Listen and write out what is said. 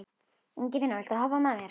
Ingifinna, viltu hoppa með mér?